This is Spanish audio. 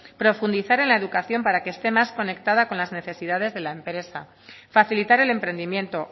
profundizar en la educación para que esté más conectada con las necesidades de la empresa facilitar el emprendimiento